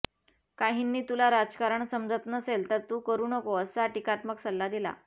काहींनी तुला राजकारण समजत नसेल तर तू करु नको असा टीकात्मक सल्ला दिला